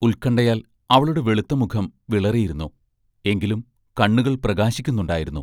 ഉത്കണ്ഠായാൽ അവളുടെ വെളുത്ത മുഖം വിളറിയിരുന്നു എങ്കിലും കണ്ണുകൾ പ്രകാശിക്കുന്നുണ്ടായിരുന്നു.